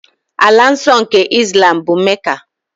Ala nsọ nke Islam bụ Mecca.